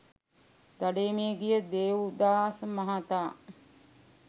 දඩයමේ ගිය දේව්දාස මහතා